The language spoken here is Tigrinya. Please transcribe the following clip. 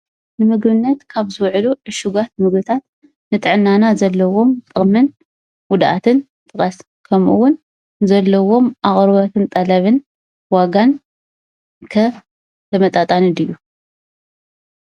ንምግብነት ካብ ዝውዕሉ ዕሹጋት ምግብታት ንጥዕናና ዘለዎም ጥቕምን ጉድኣትን ጥቐስ? ከምኡ እውን ዘለዎም ኣቕርቦትን ጠለብን ዋጋን ከ ተመጣጣኒ ድዩ ?